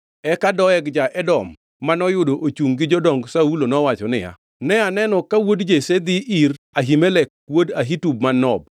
Eka Doeg ja-Edom, manoyudo ochungʼ gi jodong Saulo, nowacho niya, “Ne aneno ka wuod Jesse odhi ir Ahimelek wuod Ahitub man Nob.